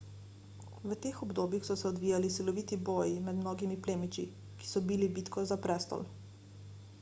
v teh obdobjih so se odvijali siloviti boji med mnogimi plemiči ki so bili bitko za prestol